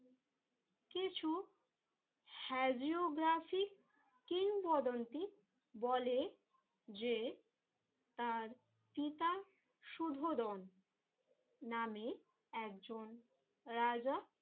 কিছু হেজিওগ্রাফি কিংবদন্তি বলে যে তার পিতা সুধোদন নামে একজন রাজা